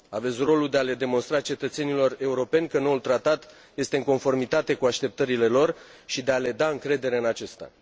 Aveți rolul de a le demonstra cetățenilor europeni că noul tratat este în conformitate cu așteptările lor și de a le da încredere în acesta.